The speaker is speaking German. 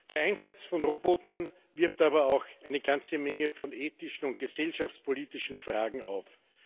Der Einsatz von Robotern wirft aber auch eine ganze Menge von ethischen und gesellschaftspolitischen Fragen auf.